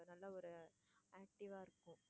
நல்ல ஒரு active ஆ இருக்கும்.